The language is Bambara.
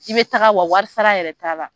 I bɛ taga wa wari sara yɛrɛ t'a la.